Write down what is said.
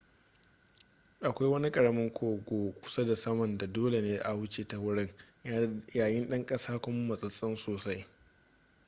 akwai wani karamin kogo kusa da saman da dole ne a wuce ta wurin ya yi ɗan ƙasa kuma matsetse sosai